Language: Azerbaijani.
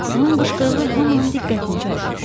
Onun qışqırığı hamının diqqətini cəlb etdi.